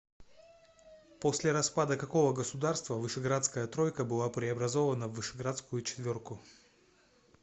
после распада какого государства вышеградская тройка была преобразована в вышеградскую четверку